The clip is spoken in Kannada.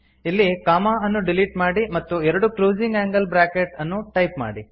ಇಲ್ಲಿ ಅನ್ನು ಡಿಲೀಟ್ ಮಾಡಿ ಮತ್ತು ಎರಡು ಕ್ಲೋಸಿಂಗ್ ಆಂಗಲ್ ಬ್ರಾಕೆಟ್ ಅನ್ನು ಟೈಪ್ ಮಾಡಿ